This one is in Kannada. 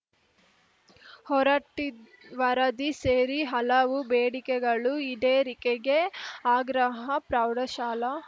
ಹೊರಟ್ಟಿವರದಿ ಸೇರಿ ಹಲವು ಬೇಡಿಕೆಗಳು ಈಡೇರಿಕೆಗೆ ಆಗ್ರಹ ಪ್ರೌಢಶಾಲಾ